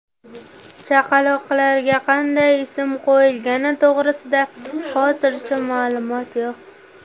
Chaqaloqlarga qanday ism qo‘yilgani to‘g‘risida hozircha ma’lumot yo‘q.